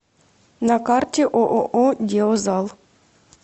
на карте ооо деозал